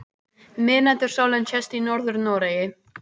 Miðnætursólin sést í Norður-Noregi.